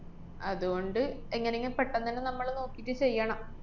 അതുകൊണ്ട് എങ്ങനേങ്ങും പെട്ടെന്നന്നെ നമ്മള് നോക്കീട്ട് ചെയ്യണം.